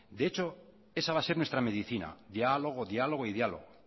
de hecho esa va a ser nuestra medicina diálogo diálogo y diálogo